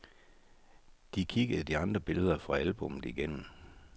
De kiggede de andre billeder fra albummet igennem.